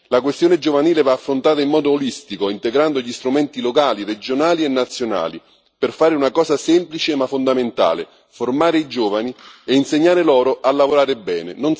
La questione giovanile va affrontata in modo olistico, integrando gli strumenti locali, regionali e nazionali, per fare una cosa semplice ma fondamentale formare i giovani e insegnare loro a lavorare bene.